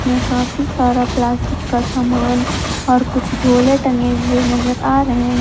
में काफी सारा प्लास्टिक का सामान और कुछ झोले टंगे हुए नजर आ रहे हैं।